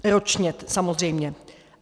Ročně samozřejmě.